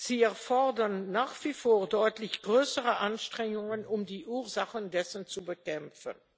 Sie erfordern nach wie vor deutlich größere Anstrengungen, um die Ursachen zu bekämpfen.